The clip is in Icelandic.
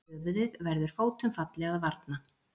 Höfuðið verður fótum falli að varna.